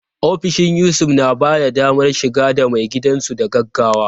Ofishin Yusuf na ba da damar shiga ga maigidansu da gaggawa.